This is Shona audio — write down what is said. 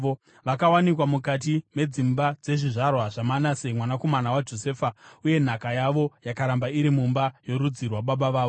Vakawanikwa mukati medzimba dzezvizvarwa zvaManase mwanakomana waJosefa, uye nhaka yavo yakaramba iri mumba yorudzi rwababa vavo.